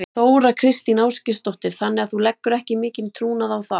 Þóra Kristín Ásgeirsdóttir: Þannig að þú leggur ekki mikinn trúnað á það?